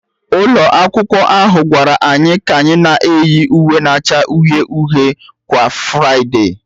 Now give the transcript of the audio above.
Ụlọ akwụkwọ ahụ gwara anyị ka anyị na-eyi uwe na-acha uhie uhie kwa Fraịdee